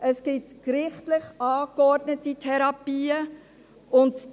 Es gibt gerichtlich angeordnete Therapien;